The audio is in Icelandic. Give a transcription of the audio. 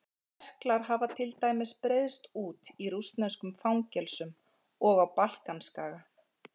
Berklar hafa til dæmis breiðst út í rússneskum fangelsum og á Balkanskaga.